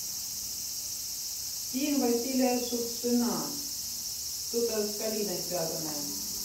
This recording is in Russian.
фильм василия шукшина что то с калиной связанное